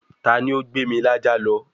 ta ni ó gbé mi lájá lọ?